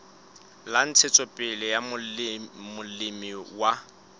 la ntshetsopele ya molemi wa